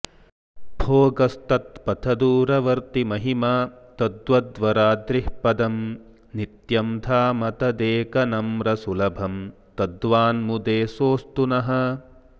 भोगस्तत्पथदूरवर्तिमहिमा तद्वद्वराद्रिः पदं नित्यं धाम तदेकनम्रसुलभं तद्वान्मुदे सोऽस्तु नः